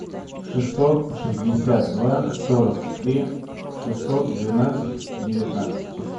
шестьсот шестьдесят два сорок три шестьсот двенадцать девятнадцать